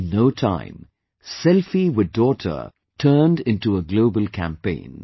In no time 'Selfie With Daughter' turned into a Global Campaign